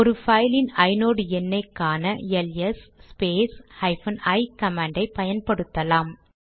ஒரு பைலின் ஐநோட் எண்ணை காண LS space hyphen I command ஐ பயன்படுத்தலாம்